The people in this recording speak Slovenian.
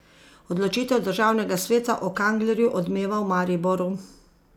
Odločitev državnega sveta o Kanglerju odmeva v Mariboru.